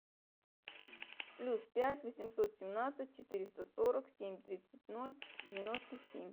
плюс пять восемьсот семнадцать четыреста сорок семь тридцать ноль девяносто семь